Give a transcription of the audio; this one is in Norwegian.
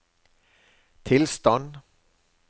tilstand